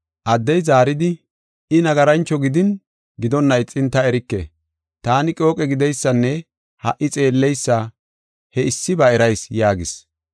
Addey zaaridi, “I nagarancho gideysa, ta erike. Taani qooqe gideysanne ha77i xeelleysa he issiba erayis” yaagis.